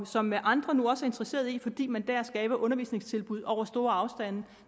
som andre nu også er interesseret i fordi man der skaber undervisningstilbud over store afstande